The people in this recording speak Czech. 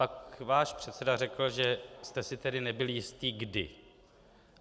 Pak váš předseda řekl, že jste si tedy nebyli jisti kdy.